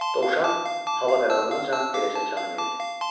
Dovşan hava qaralanacan beləcə can verdi